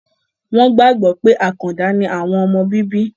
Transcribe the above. wọ́n gbàgbọ́ pé àkàndà ni àwọn ọmọ bíbí.